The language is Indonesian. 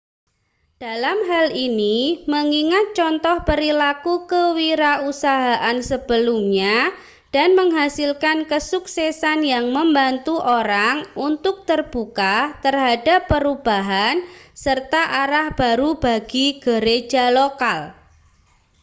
dalam hal ini mengingat contoh perilaku kewirausahaan sebelumnya dan menghasilkan kesuksesan yang membantu orang untuk terbuka terhadap perubahan serta arah baru bagi gereja lokal